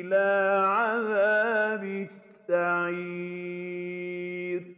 إِلَىٰ عَذَابِ السَّعِيرِ